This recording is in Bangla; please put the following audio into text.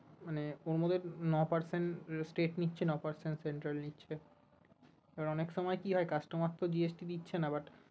মানে ওর মধ্যে নয় percent state নিচ্ছে নয় percent central নিচ্ছে